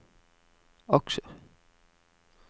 aksjer